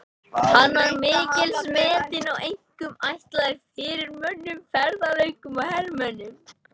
Hann var mikils metinn og einkum ætlaður fyrirmönnum, ferðalöngum og hermönnum.